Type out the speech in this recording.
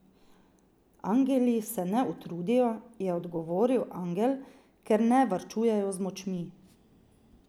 Angeli se ne utrudijo, je odgovoril angel, ker ne varčujejo z močmi.